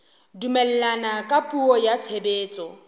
dumellana ka puo ya tshebetso